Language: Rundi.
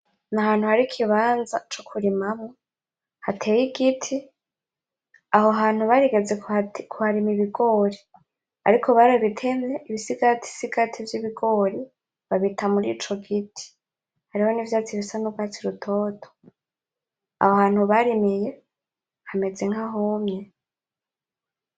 N’ahantu hari ikibanza co kurima mwo hateye igiti aho hantu barigeze ku harima ibigori ariko babitemye ibisigatisigati vy’ibigori babita muri ico giti hariho n’ivyatsi bisa n'urwatsi rutoto aho hantu barimiye hameze nka humye.